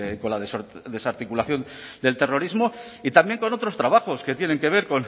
con la desarticulación del terrorismo y también con otros trabajos que tienen que ver